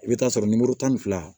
I bɛ taa sɔrɔ nimoro tan ni fila